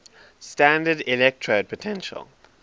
standard electrode potential